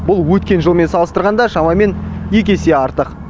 бұл өткен жылмен салыстырғанда шамамен екі есе артық